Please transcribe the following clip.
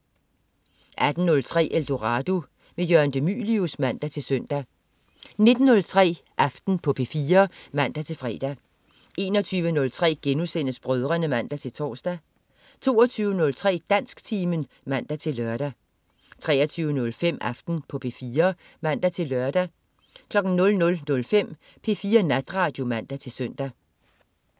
18.03 Eldorado. Jørgen de Mylius (man-søn) 19.03 Aften på P4 (man-fre) 21.03 Brødrene* (man-tors) 22.03 Dansktimen (man-lør) 23.05 Aften på P4 (man-lør) 00.05 P4 Natradio (man-søn)